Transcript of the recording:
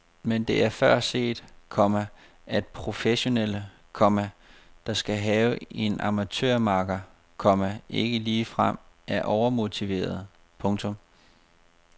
Men det er før set, komma at professionelle, komma der skal have en amatørmakker, komma ikke ligefrem er overmotiverede. punktum